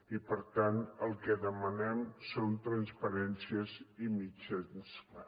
i per tant el que demanem són transparències i mitjans clars